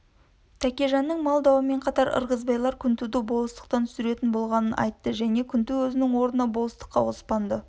тәкежанның мал дауымен қатар ырғызбайлар күнтуды болыстықтан түсіретін болғанын айтты және күнту өзінің орнына болыстыққа оспанды